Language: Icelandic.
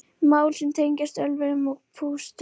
Mál sem tengjast ölvun og pústrum